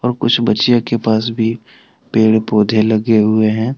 कुछ बच्चियां के पास भी पेड़ पौधे लगे हुए हैं।